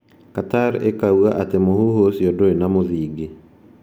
Qatar ĩkoiga atĩ mũhuhu ũcio ndũrĩ na mũthingi.